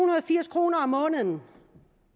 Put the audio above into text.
og firs kroner om måneden